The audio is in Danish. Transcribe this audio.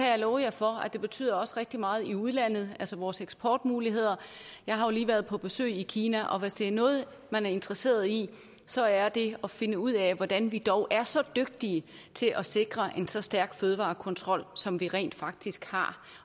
jeg love for at det også betyder rigtig meget i udlandet altså for vores eksportmuligheder jeg har jo lige været på besøg i kina og hvis der er noget man er interesseret i så er det at finde ud af hvordan vi dog er så dygtige til at sikre en så stærk fødevarekontrol som vi rent faktisk har